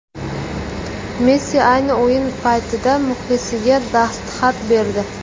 Messi ayni o‘yin paytida muxlisiga dastxat berdi .